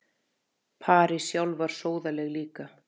París sjálf var sóðaleg líka.